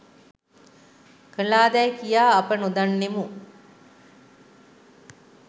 කළාදැයි කියා අප නොදන්නෙමු